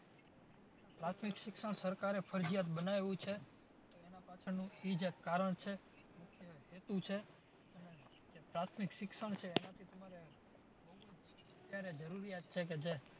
પ્રાથમિક શિક્ષણ સરકારે ફરજિયાત બનાઈવું છે તો એના પાછળનું ઈ જ એક કારણ છે. એક મુખ્ય હેતુ છે. અને જે પ્રાથમિક શિક્ષણ છે એનાથી તમારે